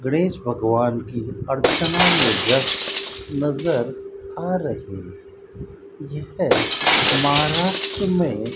गणेश भगवान की अर्चना में व्यस्त नजर आ रही यह महाराष्ट्र में --